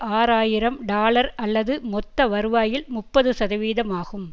ஆறு ஆயிரம் டாலர் அல்லது மொத்த வருவாயில் முப்பதுசதவீதமாகும்